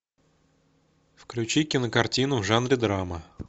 включи кинокартину в жанре драма